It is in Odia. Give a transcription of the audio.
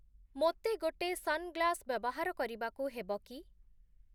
ମତେ ଗୋଟେ ସନଗ୍ଳାସ ବ୍ୟବହାର କରିବାକୁ ହେବ କି?